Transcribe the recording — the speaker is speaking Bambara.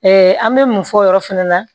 an bɛ mun fɔ o yɔrɔ fana na